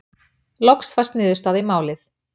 Loks fæst niðurstaða í málið.